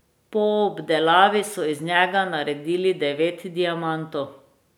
Po obdelavi so iz njega naredili devet diamantov.